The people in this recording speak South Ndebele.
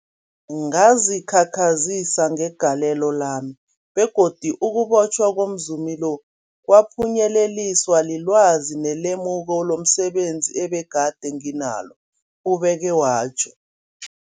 Ngazikhakhazisa ngegalelo lami, begodu ukubotjhwa komzumi lo kwaphunyeleliswa lilwazi nelemuko lomse benzi ebegade nginalo, ubeke watjho.